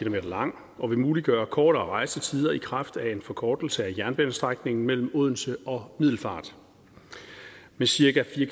lang og vil muliggøre kortere rejsetider i kraft af en forkortelse af jernbanestrækningen mellem odense og middelfart med cirka fire